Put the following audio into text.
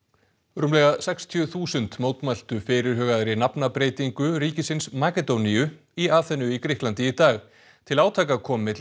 rúmlega sextíu þúsund mótmæltu fyrirhugaðri nafnabreytingu ríkisins Makedóníu í Aþenu í Grikklandi í dag til átaka kom milli